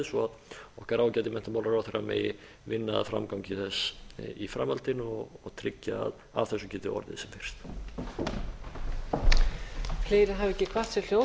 svo að okkar ágæti menntamálaráðherra megi vinna að framgangi þess í framhaldinu og tryggja að af þessu geti orðið sem fyrst